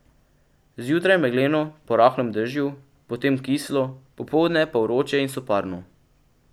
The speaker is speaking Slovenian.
Zjutraj megleno po rahlem dežju, potem kislo, popoldne pa vroče in soparno.